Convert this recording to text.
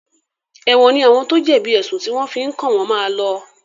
Èwọ̀n ní àwọn tó jẹ̀bi èsùn tí wọ́n fi kàn wọ́n máa lọ.